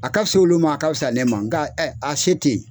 A ka fisa olu ma, a ka fisa ne ma nka a se tɛ yen..